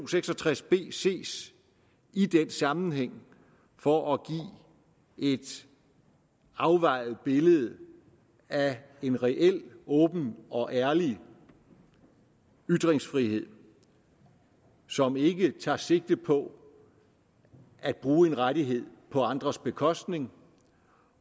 seks og tres b ses i den sammenhæng for at give et afvejet billede af en reel åben og ærlig ytringsfrihed som ikke tager sigte på at bruge en rettighed på andres bekostning